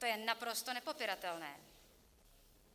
To je naprosto nepopiratelné.